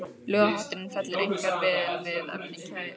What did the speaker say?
Ljóðahátturinn fellur einkar vel að efni kvæðisins.